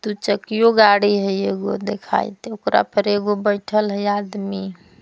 दुचकियो गाड़ी हई एगो देखाइत ओकरा पर एगो बैठल हई आदमी।